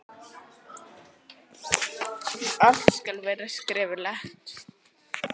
Allt skal vera skriflegt.